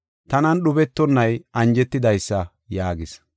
Tanan dhubetonay anjetidaysa” yaagis.